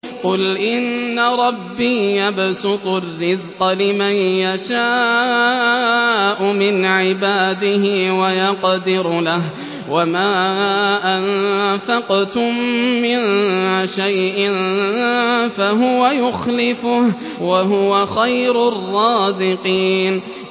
قُلْ إِنَّ رَبِّي يَبْسُطُ الرِّزْقَ لِمَن يَشَاءُ مِنْ عِبَادِهِ وَيَقْدِرُ لَهُ ۚ وَمَا أَنفَقْتُم مِّن شَيْءٍ فَهُوَ يُخْلِفُهُ ۖ وَهُوَ خَيْرُ الرَّازِقِينَ